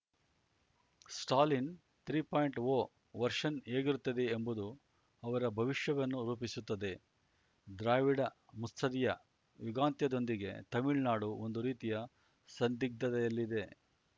Stalin three point O version ಹೇಗಿರುತ್ತದೆ ಎಂಬುದು ಅವರ ಭವಿಷ್ಯವನ್ನು ರೂಪಿಸುತ್ತದೆ ದ್ರಾವಿಡ ಮುತ್ಸದ್ದಿಯ ಯುಗಾಂತ್ಯದೊಂದಿಗೆ ತಮಿಳ್ನಾಡು ಒಂದು ರೀತಿಯ ಸಂದಿಗ್ಧದಲ್ಲಿದೆ